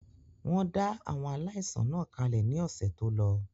Wọ́n dá àwọn aláìsàn náà kalẹ̀ ní ọ̀sẹ̀ tólọ